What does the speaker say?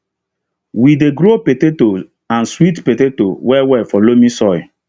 we dey grow petato and sweet petato well well for loamy soil